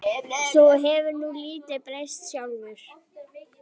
Þú hefur nú lítið breyst sjálfur.